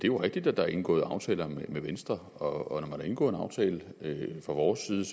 jo rigtigt at der er indgået aftaler med venstre og man har indgået en aftale fra vores side